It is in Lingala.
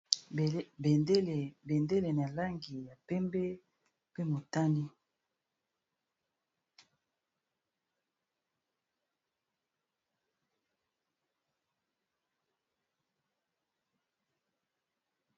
Bendele na langi ya pembe mpe motani.